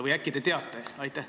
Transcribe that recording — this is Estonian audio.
Või äkki te teate?